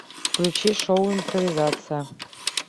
включи шоу импровизация